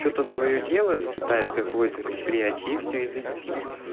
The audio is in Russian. что-то своё делают китайское какое-то предприятие и все и заебись